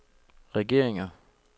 regeringer